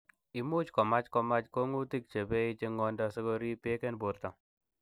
Imuch komach komach komong'utik chebei en chong'indo sikorib beek en borto.